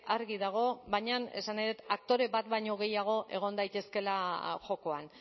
argi dago baina esan nahi dut aktore bat baino gehiago egon daitezkeela jokoan